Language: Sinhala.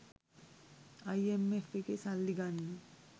අයිඑම්එෆ් එකේ සල්ලි ගන්න